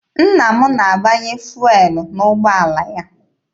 Nna m na-agbanye fụelụ n'ụgbọala ya.